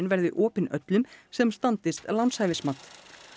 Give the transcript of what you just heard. verði opin öllum sem standist lánshæfismat